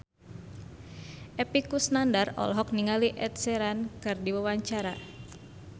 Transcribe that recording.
Epy Kusnandar olohok ningali Ed Sheeran keur diwawancara